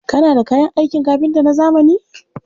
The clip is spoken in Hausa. Kana da kayan aikin kafinta na zamani?